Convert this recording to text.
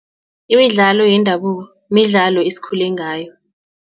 Imidlalo yendabuko, midlalo esikhule ngayo.